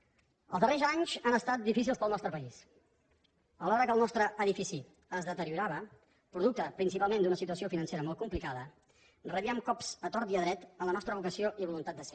els darrers anys han estat difícils per al nostre país alhora que el nostre edifici es deteriorava producte principalment d’una situació financera molt complicada rebíem cops a tort i a dret en la nostra vocació i voluntat de ser